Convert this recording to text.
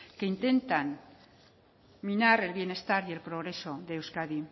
que intentan minar el bienestar y el progreso de euskadi